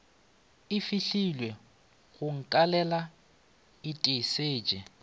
e fahlilwego go nkalela itesetše